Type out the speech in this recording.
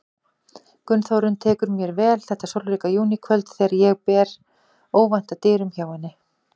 Gunnþórunn tekur mér vel þetta sólríka júníkvöld þegar ég ber óvænt að dyrum hjá henni.